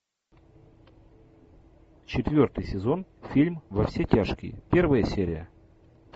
четвертый сезон фильм во все тяжкие первая серия